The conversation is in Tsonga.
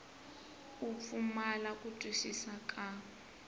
u pfumala ku twisisa ka